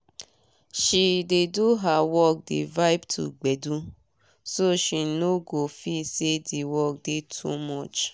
she dey do her work dey vibe to gbedu so she no go feel say d work dey too much